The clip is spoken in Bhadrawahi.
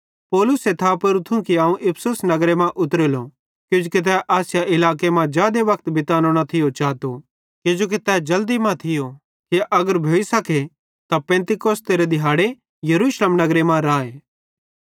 पौलुसे थापेरू थियूं कि अवं इफिसुस नगरे मां उतरेलो किजोकि तै आसिया इलाके मां जादे वक्त बीतानो न थियो चातो किजोकि तै जल्दी मां थियो कि अगर भोइसखे त तै पिन्तेकुस्त तिहारेरे दिहाड़े यरूशलेम नगरे मां राए